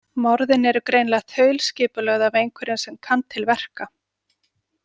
Morðin eru greinilega þaulskipulögð af einhverjum sem kann til verka.